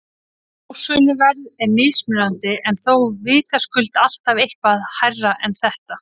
Smásöluverð er mismunandi en þó vitaskuld alltaf eitthvað hærra en þetta.